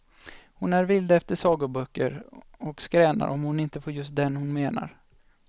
Hon är vild efter sagoböcker och skränar om hon inte får just den hon menar.